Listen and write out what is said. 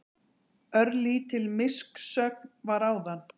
Örlítil missögn var áðan.